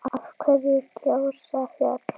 Af hverju gjósa fjöll?